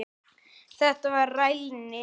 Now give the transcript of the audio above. Þetta var rælni.